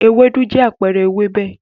Ewédú jẹ́ àpẹẹrẹ ewébẹ̀.